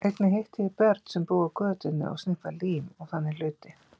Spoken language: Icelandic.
Einnig hitti ég börn sem búa á götunni og sniffa lím og þannig hluti.